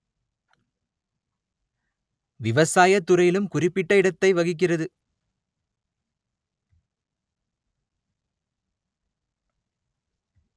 விவசாய துறையிலும் குறிப்பிட்ட இடத்தை வகிக்கிறது